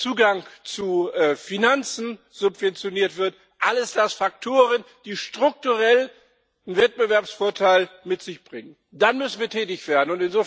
Zugang zu Finanzen subventioniert wird, alles das sind Faktoren, die strukturell einen Wettbewerbsvorteil mit sich bringen dann müssen wir tätig werden.